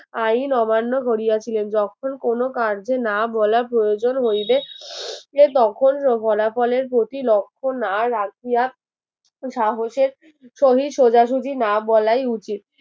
আইন অমান্য করিয়াছিলেন যখন কোন কার্যে না বলা প্রয়োজন হইলে তখন ফলাফলের প্রতি লক্ষ্য না রাখিয়া সাহসের সহি সোজাসোজি না বলাই উচিত